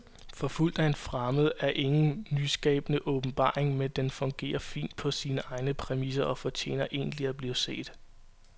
Forfulgt af en fremmed er ingen nyskabende åbenbaring, men den fungerer fint på sine egne præmisser og fortjener egentlig at blive set.